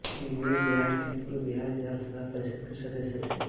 वे बिहार के पूर्व बिहार विधान परिषद् के सदस्य थे